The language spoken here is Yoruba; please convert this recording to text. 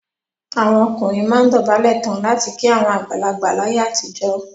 Àwọn ọkùnrin máa ń dọ̀bálẹ̀ tán láti kí àwọn àgbàlagbà láyé àtijọ́.